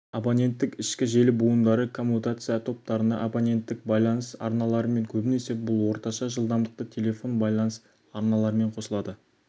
абонеттік ішкі желі буындары коммутация тораптарына абоненттік байланыс арналарымен көбінесе бұл орташа жылдамдықты телефон байланыс арналарымен қосылады